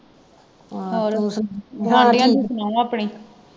ਗੁਵਾਂਦੀਆਂ ਦੀ ਸੁਣਾਓ ਆਪਣੀ